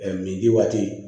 min di waati